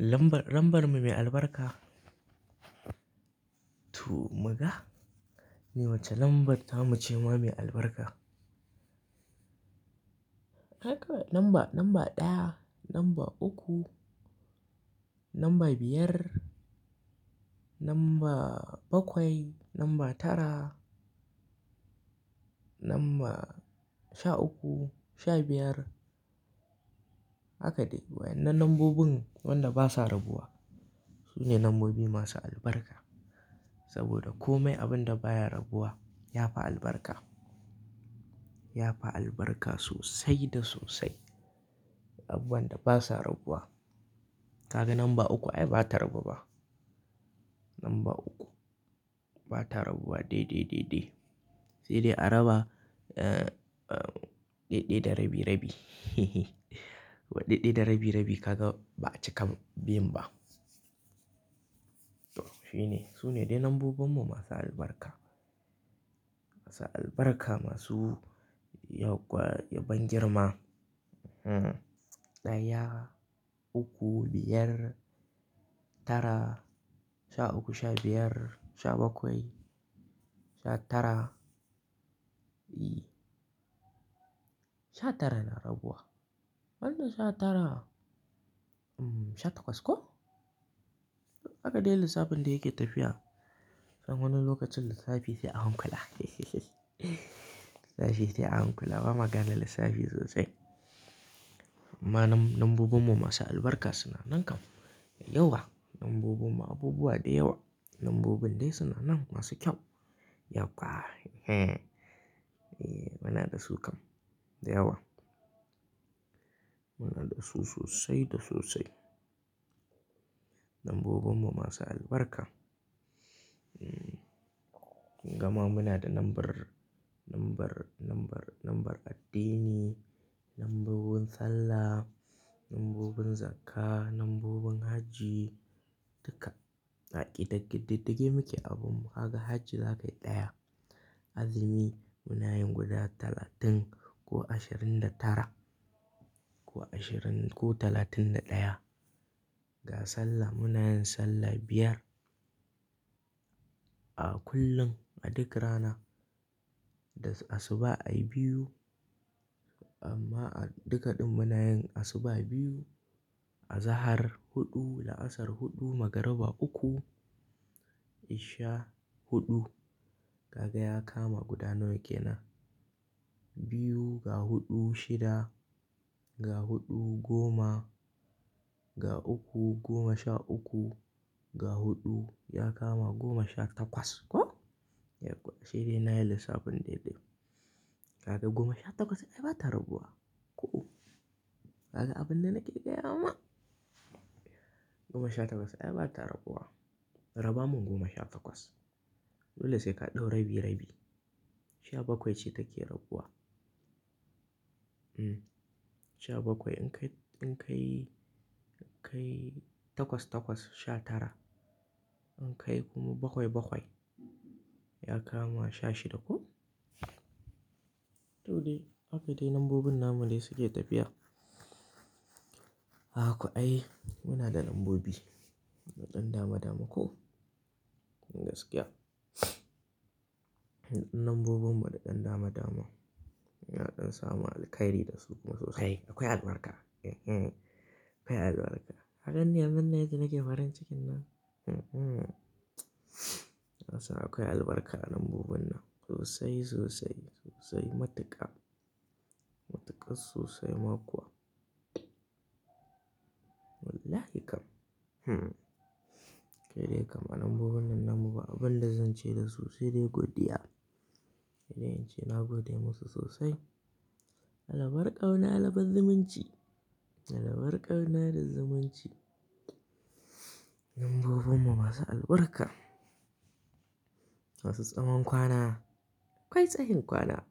Lambar, lambar mu mai albarka. To muga, ne wace lambar ta mu ce ma mai albarka? Haka lamba, lamba ɗaya, lamba uku, lamba biyar, lamba bakwai, lamba tara, lamba sha uku, sha biyar haka dai. Wa'ina nambobin wanda basa rabuwa su ne nambobi masu albarka. Saboda komai abin da baya rabuwa ya fi albarka. Ya fi albarka sosai da sosai. Abubuwan da basa rabuwa. Kaga namba uku ai ba ta rabu ba. Namba uku ba ta rabuwa dai, dai, dai, dai. Sai dai a raba, eh, eh, ɗaiɗai da rabi-rabi. Wai ɗaiɗai da rabi-rabi kaga ba'a cika bin ba. Toh shi ne. Su ne dai nombobinmu masu albarka. Masu albarka masu yauƙwa, yabon girma. Hmm. Ɗaya, uku, biyar, tara, sha uku, sha biyar, sha bakwai, sha tara. E, Sha tara na raguwa. Wannan sha tara, mmh, sha takwas ko? Haka dai lissafin da yake tafiya. Don wani lokacin lissafi sai a hankula. Lissafi sai a hankula. Ba ma gane lissafi sosai. Amma nombo-nombobinmu masu albarka suna nan kam. Yauwa. Nombobinmu abubuwa da yawa. Lambobin dai suna nan masu kyau. Yauwa. E, muna da su kam. Da yawa. Muna da su sosai da sosai. Nombobinmu masu albarka. Mm. Gama muna da nombar, nombar, nombar, nombar addini, nombobin sallah, nombobin zakka, nombobin hajji duka. A ƙididdige muke abunmu. Ka ga hajji zai ɗaya. Azumi munayin guda talatin ko ashirin da tara ko ashirin ko talatin da ɗaya. Ga sallah munayin sallah biyar a kullum a duk rana. Da asuba ai biyu amma a dukaɗin munayin asuba biyu, a zahar huɗu, la'asar huɗu, magariba uku, isha huɗu. Kaga ya kama guda nawane kenan. Biyu ga huɗu shida, ga huɗu goma, ga uku goma sha uku, ga huɗu ya kama goma sha takwas ko? Yauwa. Ashe dai na yi lissafin dai dai. Kaga goma sha takwas ai ba ta rabuwa. Ko. Kaga abin da nake gaya ma. Goma sha takwas ai ba ta rabuwa. Raba mun goma sha takwas. Dole sai ka ɗau rabi-rabi. Sha bakwai ce take rabuwa. Mm. Sha bakwai in ka yi, in ka yi, ka yi takwas takwas sha tara. In ka yi kuma bakwai bakwai ya kama sha shida ko? To dai haka dai lambobin na mu dai suke tafiya. Ka ga ko ai muna da lambobi da ɗan dama dama ko? Gaskiya. Lambobinmu da ɗan dama dama. Muna ɗan samun alheri da su sosai. Akwai albarka. E, hm. Akwai albarka. Ka gani yanzun nan yadda nake farin cikin nan. Mm-mm. Kasan akwai albarka lambobin nan. Sosai, sosai, sosai. Matuƙa. Matuƙar sosai ma kuwa. Wallahi kam. Hm. Kai dai kam lambobin nan na mu ba abin da zan ce da su sai dai godiya. Sai dai in ce na gode musu sosai. Alabar ƙauna na alabar zimunci. Alabarkar ƙauna da zumunci. Lambobinmu masu albarka. Wasu tsawon kwana. Akwai tsayin kwana.